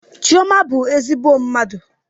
Chioma bụ ezigbo mmadụ.